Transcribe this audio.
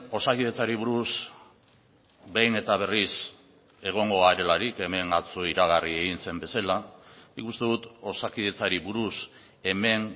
osakidetzari buruz behin eta berriz egongo garelarik hemen atzo iragarri egin zen bezala nik uste dut osakidetzari buruz hemen